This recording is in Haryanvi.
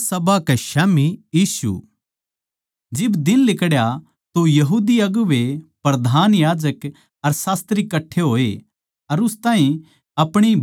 जद दिन लिकड़या तो यहूदी अगुवें प्रधान याजक अर शास्त्री कट्ठे होए अर उस ताहीं अपणी बड्डी सभा म्ह ल्याकै बुझया